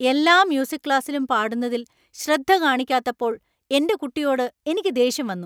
എല്ലാ മ്യൂസിക് ക്ലാസ്സിലും പാടുന്നതിൽ ശ്രദ്ധ കാണിക്കാത്തപ്പോൾ എന്‍റെ കുട്ടിയോട് എനിക്ക് ദേഷ്യം വന്നു.